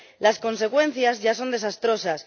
Las consecuencias ya son desastrosas.